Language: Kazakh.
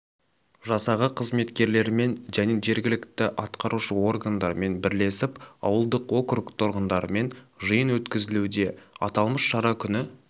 жасағы қызметкерлерімен және жергілікті атқарушы органдармен бірлесіп ауылдық округ тұрғындарымен жиын өткізілуде аталмыш шара күні